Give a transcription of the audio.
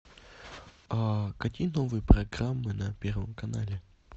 какие новые программы на первом канале